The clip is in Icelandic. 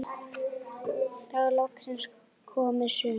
Þá er loksins komið sumar.